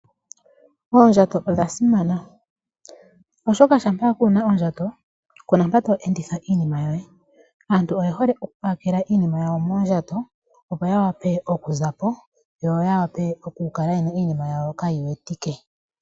Oondjato odha simana, oshoka shampa kuuna ondjato, kuna mpa to e enditha iinima yoye. Aantu oye hole oku pakela iinima yawo moondjato, opo yawape okuzapo, yo yawape okukala yena iinima yawo kaayi wetike.